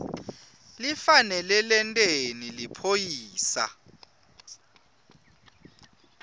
lifanele lenteni liphoyisa